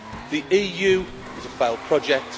The EU is a failed project.